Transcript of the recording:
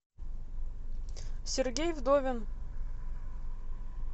сергей вдовин